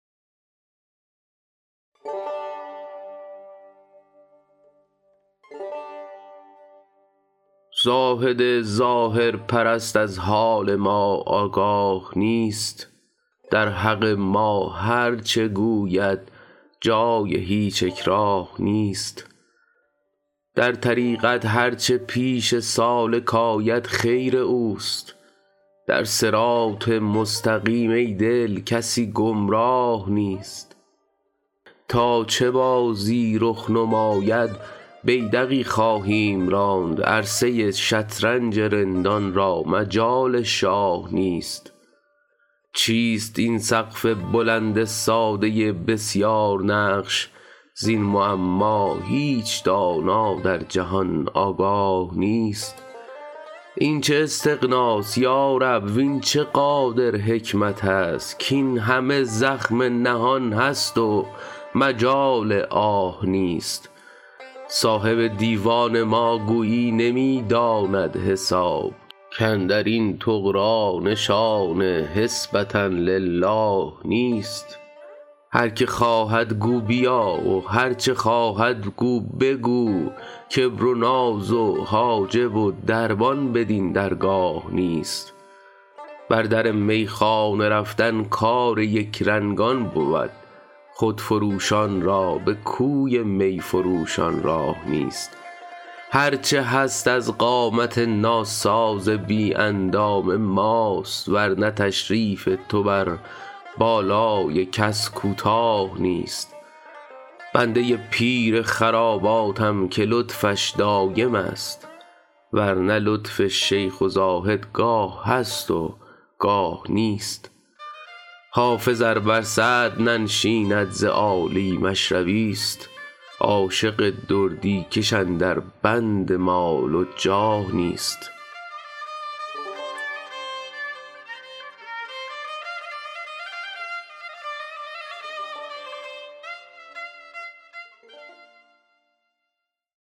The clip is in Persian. زاهد ظاهرپرست از حال ما آگاه نیست در حق ما هرچه گوید جای هیچ اکراه نیست در طریقت هرچه پیش سالک آید خیر اوست در صراط مستقیم ای دل کسی گمراه نیست تا چه بازی رخ نماید بیدقی خواهیم راند عرصه ی شطرنج رندان را مجال شاه نیست چیست این سقف بلند ساده بسیارنقش زین معما هیچ دانا در جهان آگاه نیست این چه استغناست یا رب وین چه قادر حکمت است کاین همه زخم نهان است و مجال آه نیست صاحب دیوان ما گویی نمی داند حساب کاندر این طغرا نشان حسبة للٰه نیست هر که خواهد گو بیا و هرچه خواهد گو بگو کبر و ناز و حاجب و دربان بدین درگاه نیست بر در میخانه رفتن کار یکرنگان بود خودفروشان را به کوی می فروشان راه نیست هرچه هست از قامت ناساز بی اندام ماست ور نه تشریف تو بر بالای کس کوتاه نیست بنده ی پیر خراباتم که لطفش دایم است ور نه لطف شیخ و زاهد گاه هست و گاه نیست حافظ ار بر صدر ننشیند ز عالی مشربی ست عاشق دردی کش اندر بند مال و جاه نیست